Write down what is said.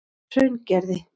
Hraungerði